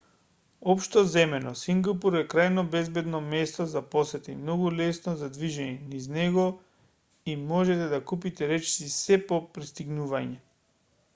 општо земено сингапур е крајно безбедно место за посета и многу лесно за движење низ него и можете да купите речиси сѐ по пристигнување